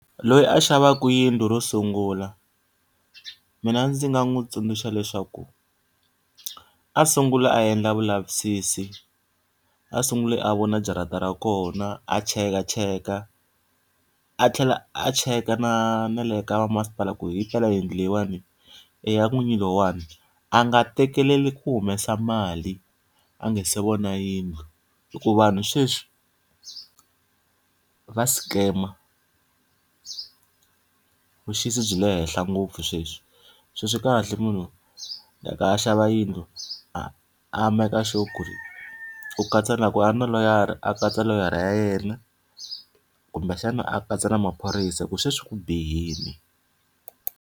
Loyi a xavaka yindlu ro sungula, mina ndzi nga n'wi tsundzuxa leswaku a sungula a endla vulavisisi. A sunguli a vona jarata ra kona a chekacheka a tlhela a cheka na na le ka vamasipala ku himpela yindlu leyiwani i ya n'winyi loyiwani. A nga tekeli ku humesa mali a nga se vona yindlu hikuva vanhu sweswi va scam-a vuxisi byi le henhla ngopfu sweswi. Se swi kahle munhu loko a xava yindlu a a make sure ku ri u katsa na loko a ri na loyara a katsa loyara ya yena, kumbexana a katsa na maphorisa hikuva sweswi ku bihile.